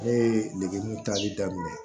Ne ye degeburu taali daminɛ